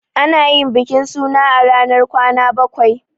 Ana yin bikin suna a ranar kwana bakwai.